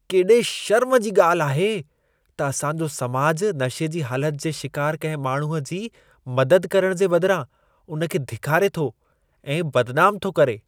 केॾे शर्म जी ॻाल्हि आहे त असां जो समाज नशे जी हालत जे शिकार कंहिं माण्हूअ जी मदद करण जे बदिरां उन खे धिकारे थो ऐं बदनाम थो करे।